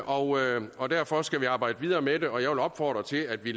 og og derfor skal vi arbejde videre med det jeg vil opfordre til at vi